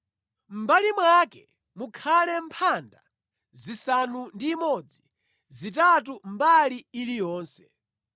Mʼmbali mwake mukhale mphanda zisanu ndi imodzi, zitatu mbali iliyonse.